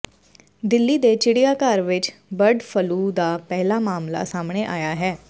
ਦਿੱਲੀ ਦੇ ਚਿੜੀਆਂ ਗਰ ਵਿਚ ਬਰਡ ਫਲੂ ਦਾ ਪਹਿਲਾਂ ਮਾਮਲਾ ਸਾਹਮਣੇ ਆਇਆ ਹੈ